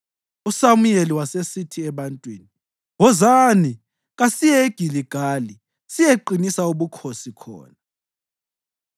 USamuyeli wasesithi ebantwini, “Wozani, kasiyeni eGiligali siyeqinisa ubukhosi khona.”